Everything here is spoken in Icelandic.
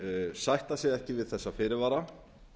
sætta sig ekki við þessa fyrirvara